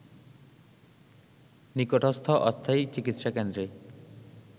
নিকটস্থ অস্থায়ী চিকিৎসা কেন্দ্রে